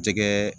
Jɛgɛ